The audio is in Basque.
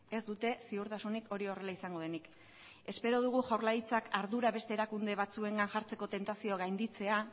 ez dute ziurtasunik hori horrela izango denik espero dugu jaurlaritzak ardura beste erakunde batzuengan jartzeko tentazioa gainditzea